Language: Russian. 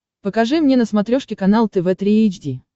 покажи мне на смотрешке канал тв три эйч ди